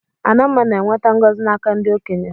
Adamma na-enweta ngọzi n'aka ndị okenye.